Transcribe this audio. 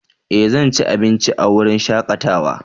Eh! Zan ci abinci a wurin shakatawa.